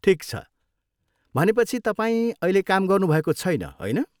ठिक छ। भनेपछि, तपाईँ अहिले काम गर्नुभएको छैन, होइन?